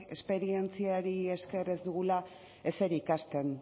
esperientziari esker ez dugula ezer ikasten